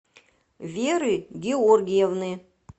веры георгиевны